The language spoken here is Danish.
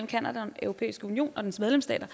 canada og den europæiske union og dens medlemsstater